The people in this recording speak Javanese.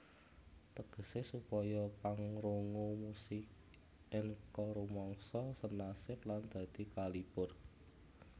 Tegese supaya pangrungu musik enka rumangsa senasib lan dadi kalipur